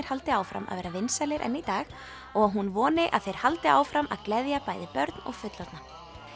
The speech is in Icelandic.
haldi áfram að vera vinsælir enn í dag og að hún voni að þeir haldi áfram að gleðja bæði börn og fullorðna